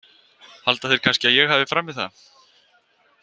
Halda þeir kannski að ég hafi framið það?